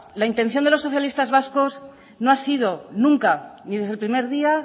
la intención de los socialistas vascos no ha sido nunca ni desde el primer día